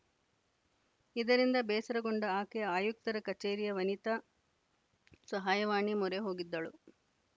ಇದರಿಂದ ಬೇಸರಗೊಂಡ ಆಕೆ ಆಯುಕ್ತರ ಕಚೇರಿಯ ವನಿತಾ ಸಹಾಯವಾಣಿ ಮೊರೆ ಹೋಗಿದ್ದಳು